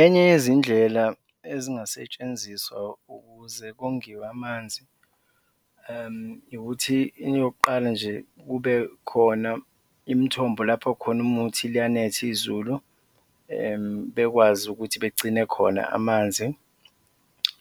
Enye yezindlela ezingasetshenziswa ukuze kongiwe amanzi ukuthi eyokuqala nje kube khona imithombo lapho khona uma kuwukuthi liyanetha izulu, bekwazi ukuthi begcine khona amanzi,